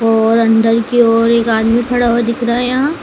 और अंदर की ओर एक आदमी खड़ा हुआ दिख रहा है यहां।